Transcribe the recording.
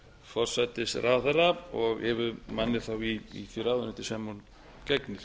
forsætisráðherra og yfirmanni þá í því ráðuneyti sem hún gegnir